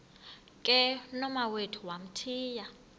ke nomawethu wamthiya